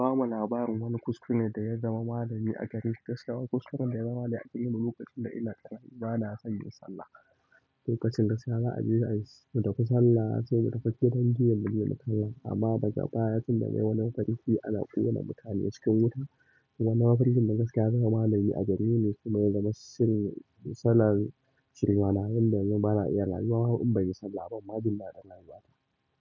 Ba mu labarin wani kuskure da ya zama malami a gari. Gaskiya kuskuren da ya zama malami a gareni lokacin da ina ƙarami bana son yin sallah. Lokacin gaskiya za a je a yi sallah sai mu tafi dangi yanzu mu kallan amma baka baya tun da yawa na farin ci ana ƙona mutane cikin wuta kuma nama farjin da gaskiya zama malami a gari ne kuma ya zama silin salar shiri malamai yadda yayi mala'iyar al'umma in bai banyi sallah ba ban ma jindaɗin rayuwata.